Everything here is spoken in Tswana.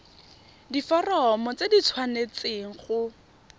diforomo tse di tshwanesteng go